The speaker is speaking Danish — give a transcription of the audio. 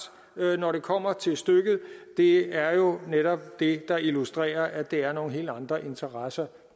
når det kommer til stykket det er jo netop det der illustrerer at det er nogle helt andre interesser